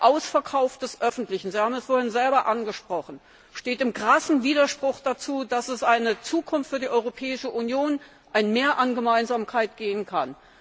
Der Ausverkauf des Öffentlichen Sie haben es vorhin selber angesprochen steht in krassem Widerspruch dazu, dass es eine Zukunft für die Europäische Union, ein Mehr an Gemeinsamkeit geben kann.